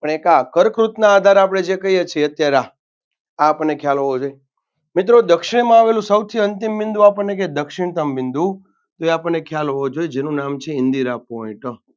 પણ એક આ કર્કવૃતના આધારે કહીએ છીએ અત્યારે આ આ આપણને ખ્યાલ હોવો જોઈએ મિત્રો દક્ષિણમાં આવેલું સૌથી અંતિમ બિંદુ આપણેને કે દક્ષિણતમ બિંદુ તો એ આપણને ખ્યાલ હોવો જોઈએ જેનું નામ છે ઇન્દિરા Point